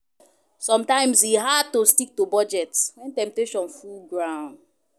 Somtimes e hard to stick to budget wen temptation full ground